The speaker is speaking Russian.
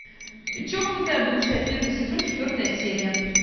чокнутая бывшая первый сезон четвертая серия